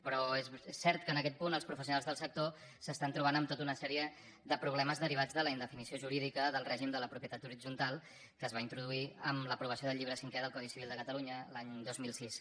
però és cert que en aquest punt els professionals del sector s’estan trobant amb tota una sèrie de problemes derivats de la indefinició jurídica del règim de la propietat horitzontal que es va introduir amb l’aprovació del llibre cinquè del codi civil de catalunya l’any dos mil sis